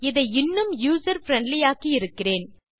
இதை இன்னும் user friendly ஆக்கி இருக்கிறேன்